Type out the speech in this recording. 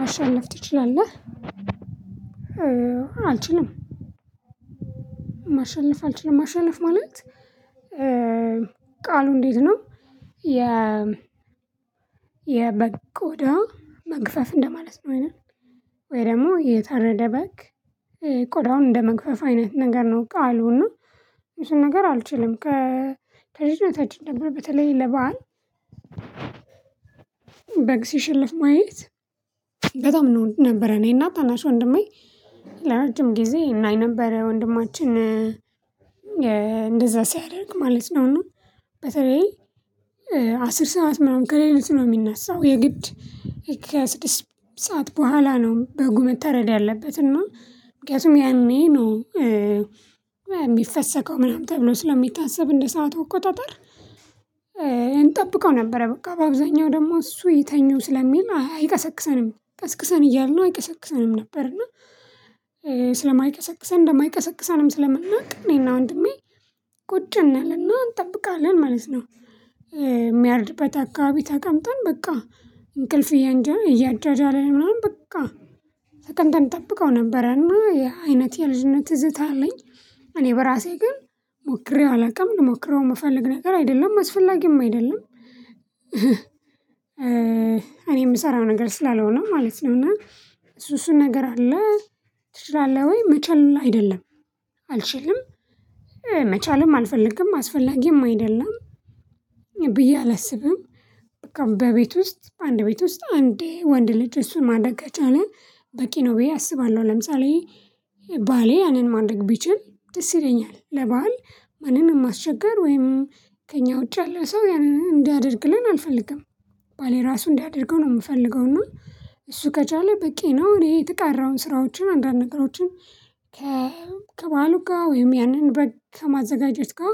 ማሸነፍ ትችላለህ? አልችልም ማሸነፍ አልችልም ማሸነፍ ማለት ቃሉ እንዴት ነው የ የበግ ቆዳ መግፈፍ እንደማለት ነው አይደል ወይ ደግሞ የታረደ በግ ቆዳውን እንደመግፈፍ አይነት ነገር ነው ቃሉ እና እሱን ነገር አልችልም ከልጅነታችን ነበር በተለይ ለባህር በግ ሲሸለፍ ማየት በጣም ነው ነበረ እኔና ታናሽ ወንድሜ ለረጅም ጊዜ እናይ ነበር ወንድማችን እንደዛ ሲያደርግ ማለት ነው እና በተለይ አስር ሰዓት ምናምን ከሌሊቱ ነው የሚነሳው የግድ ሰዓት በኋላ ነው በጉ መተረድ ያለበት እና ምክንያቱም ያኔ ነው የሚፈሰከው ምናምን ተብሎ ስለሚታሰብ እንደ ሰዓቱ እቆጣጠር እንጠብቀው ነበረ በቃ በአብዛኛው ደግሞ እሱ ይተኙ ስለሚል አይቀሰቅሰንም ቀስቅሰን እያልነው አይቀሰቅሰንም ነበር እና ስለማይቀሰቅሰን እንደማይቀሰቅሰንም ስለምናውቅ እኔና ወንድሜ ቁጭ እንልና እንጠብቃለን ማለት ነው የሚያርድበት አካባቢ ተቀምጠን በቃ እንቅልፍ እያጃጃለን ምናምን በቃ ተቀምጠን እንጠብቀው ነበረና ይህ የአይነት የልጅነት ትዝታ አለኝ እኔ በራሴ ግን ሞክሬው አላውቅም ልሞክረው የምፈልግ ነገር አይደለም አስፈላጊም አይደለም እኔ የምሰራው ነገር ስላልሆነ ማለት ነው ነውና እሱ እሱን ነገር አለ ትችላለህ ወይ መቻል አይደለም አልችልም መቻልም አልፈልግም አስፈላጊም አይደለም ብዬ አላስብም በቃ በቤት ውስጥ በአንድ ቤት ውስጥ አንዴ ወንድ ልጅ እሱ ማደግ ከቻለ በቂ ነው ብዬ አስባለሁ ለምሳሌ ባሌ ያንን ማድረግ ቢችል ደስ ይለኛል ለበአል ማንንም ማስቸገር ወይም ከእኛ ውጪ ያለ ሰው ያንን እንዲያደርግለን አልፈልግም ባሌ ራሱ እንዲያደርገው ነው የምፈልገው እና እሱ ከቻለ በቂ ነው እኔ የተቀረውን ስራዎችን አንዳንድ ነገሮችን ከበዓሉ ጋር ወይም ያንን በግ ከማዘጋጀች ጋር